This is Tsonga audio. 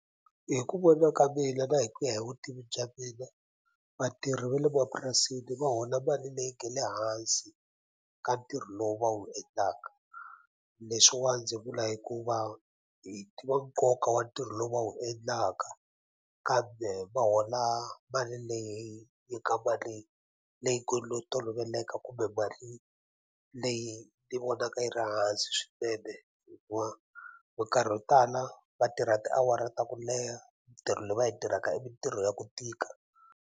Hi ku vona ka mina na hi ku ya hi vutivi bya mina vatirhi va le mapurasini va hola mali leyi nge le hansi ka ntirho lowu va wu endlaka leswiwa ndzi vula hikuva hi tiva nkoka wa ntirho lowu va wu endlaka kambe va hola mali leyi yi nga mali leyi ngo lo toloveleka kumbe mali leyi ni vonaka yi ri hansi swinene hikuva minkarhi yo tala va tirha tiawara ta ku leha mintirho leyi va yi tirhaka i mintirho ya ku tika.